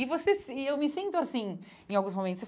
E você e eu me sinto assim em alguns momentos.